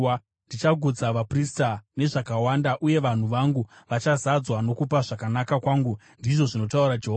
Ndichagutsa vaprista nezvakawanda, uye vanhu vangu vachazadzwa nokupa zvakanaka kwangu,” ndizvo zvinotaura Jehovha.